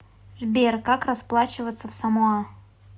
сбер как расплачиваться в самоа